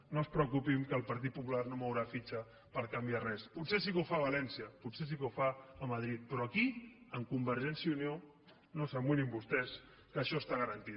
no es preocupin que el partit popular no mourà fitxa per canviar res potser sí que ho fa a valència potser sí que ho fa a madrid però aquí amb convergència i unió no s’amoïnin vostès que això està garantit